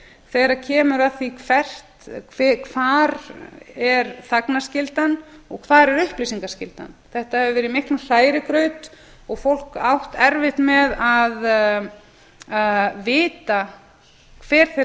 þegar kemur að því hvar er þagnarskyldan og hvar er upplýsingaskyldan þetta hefur verið í miklum hrærigraut og fólk átt erfitt með að vita hver þeirra